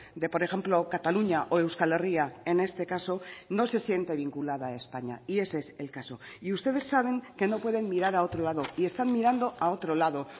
de por ejemplo cataluña o euskal herria en este caso no se siente vinculada a españa y ese es el caso y ustedes saben que no pueden mirar a otro lado y están mirando a otro lado